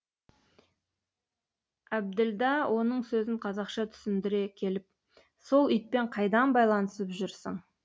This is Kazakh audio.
әбділда оның сөзін қазақша түсіндіре келіп сол итпен қайдан байланысып жүрсің